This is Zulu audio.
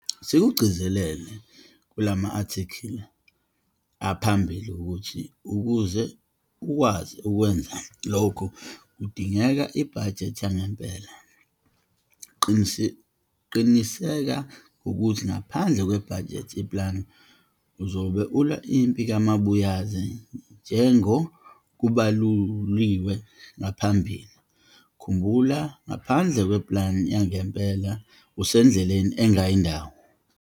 Sikugcizelele kulama athikhili aphambili ukuthi ukuze ukwazi ukwenza lokhu kudingeka ibhajethi yangempela. Qiniseka ngokuthi ngaphandle kwebhajethi, i-plan, uzobe ulwa impi kamabuyaze njengo kubaluliwe ngaphambili. Khumbula ngaphandle kwe-plan yangempela usendleleni engayi ndawo.